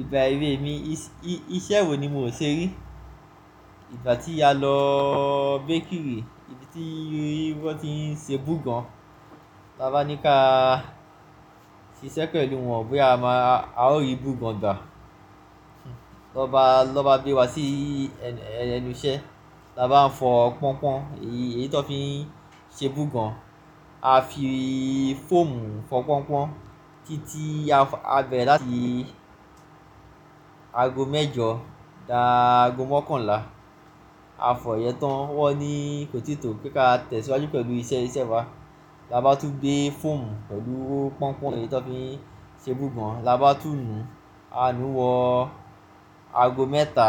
Ìgbà èwe mi iṣẹ́ wo ni mo ṣe rí. Ìgbà tí a lọ bakery, ibi tí wọ́n ti ń ṣe bùgan. Tabá ní ká ṣiṣẹ́ pẹ̀lú wọn bóyá a máa, a ó rí bùgan gbà. Lọ́ba, lọ́ba gbé wa sí ẹnu iṣẹ́, labá ń fọ pọ́npon, èyí tó fi ń ṣe bùgan. A fi fọ́ọ̀mù fọ pọ́npon títí a bẹ̀ láti ago mẹ́jọ dá ago mọ́kànlá. A fọ ìyẹ́ tán wọ́n ní kotito pé ká tẹ̀síwájú pẹ̀lú iṣẹ́ wa. Labá tún gbé fọ́ọ̀mù pẹ̀lú pọ́npon èyí tó fi ń ṣe bùgan. Labá tún nu, a nu wọ ago mẹ́ta